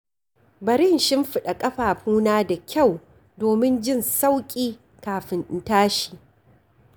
Bari in shimfiɗa ƙafafuna da kyau domin jin sauƙi kafin in tashi.